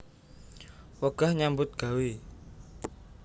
Wegah nyambut gawé